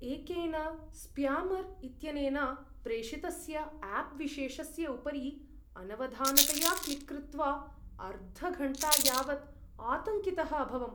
एकेन स्प्यामर् इत्यनेन प्रेषितस्य आप् विशेषस्य उपरि अनवधानतया क्लिक् कृत्वा अर्धघण्टा यावत् आतङ्कितः अभवम्।